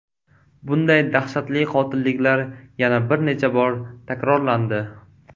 Bunday dahshatli qotilliklar yana bir necha bor takrorlandi.